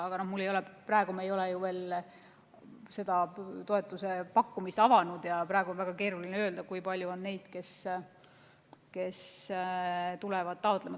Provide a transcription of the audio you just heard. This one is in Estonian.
Aga me ei ole ju veel toetuse pakkumist avanud ja praegu on väga keeruline öelda, kui palju on neid, kes tulevad taotlema.